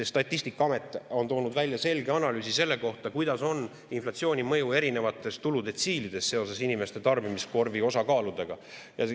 Statistikaamet on toonud välja selge analüüsi selle kohta, kuidas on inflatsiooni mõju erinevates tuludetsiilides seoses inimeste tarbimiskorvi osakaaludega.